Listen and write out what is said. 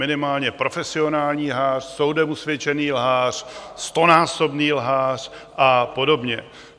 Minimálně profesionální lhář, soudem usvědčený lhář, stonásobný lhář a podobně.